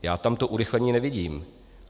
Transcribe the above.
Já tam to urychlení nevidím.